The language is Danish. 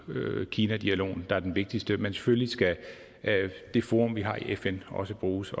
kina dialogen der er det vigtigste men selvfølgelig skal det forum vi har i fn også bruges